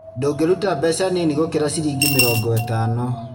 Ndũngĩruta mbeca nini gũkira ciringi mĩrongo ĩtano